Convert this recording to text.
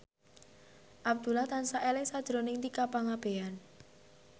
Abdullah tansah eling sakjroning Tika Pangabean